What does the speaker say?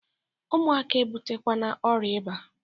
Ụmụaka a ebutekwana ọrịa ịba!